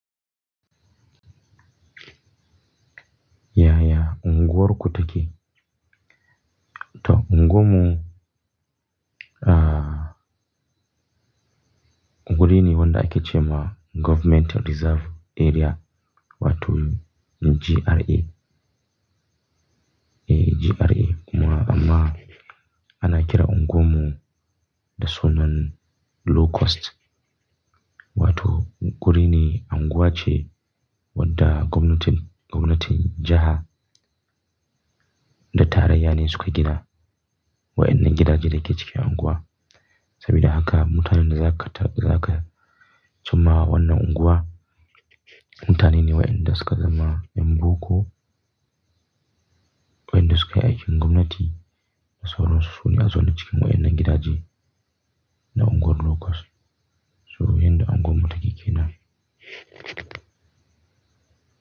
Ya, ya unguwarku take. To unguwammu, ah, wurine wanda ake ce ma Government Reserve Area, wato GRA. E, GRA kuma amma ana kiran unguwammu da sunan Low Cost. Wato gurine unguwa ce wadda gwamnatin, gwamnatin jiha da tarayya ne suke gida wa'innan gidaje da ke cikin unguwa. Sabida haka mutanen da za ka ta, za ka cimmawa wannan unguwa, mutane ne wa'inda suka zama yan boko, wa'inda suka yi aikin gwamnati da sauran su sune a zo na cikin wayannan gidaje na unguwar Low Cost. So yanda unguwar mu ta ke ke nan.